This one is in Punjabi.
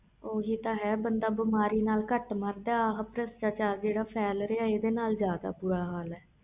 ਹੋ ਹੀ ਤਾ ਹੈ ਬੰਦਾ ਬਿਮਾਰੀ ਨਾਲ ਕੱਟ ਮਾਰਦਾ ਇਹ ਜਿਹੜਾ ਅਤੇਆਂ ਚਾਰ ਇਹਦੇ ਨਾਲ ਜਾਂਦਾ